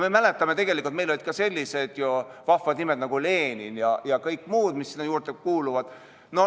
Me mäletame, et meil olid ka sellised vahvad nimed nagu Lenin ja kõik muud, mis sinna juurde kuuluvad.